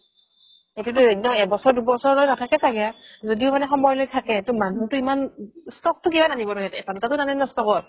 এইটো একদম এক বছৰ দুবছৰ লৈকে নাথাকে চাগে যদিও মানে সময় লৈ থাকে মানুহতো ইমান stock তো কিমান আনিব এটা দুটাতো নানে ন stock ত